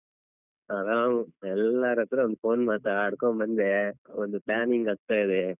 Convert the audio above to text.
ಆರಾಮ್ ಎಲ್ಲರತ್ರ ಒಂದು phone ಮಾತಡ್ಕೊಂಡ್ ಬಂದೆ ಒಂದು planning ಆಗ್ತಾ ಇದೆ.